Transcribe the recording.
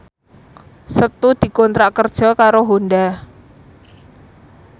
Setu dikontrak kerja karo Honda